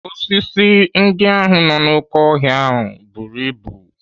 Osisi ndị ahụ nọ n'oké ọhịa buru ibu.